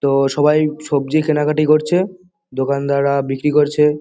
তো সবাই সবজি কেনাকাটি করছে। দোকানদাররা বিক্রি করছে।